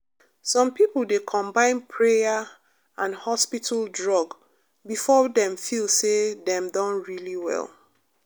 some people dey combine prayer and hospital drug before dem feel say dem don really well.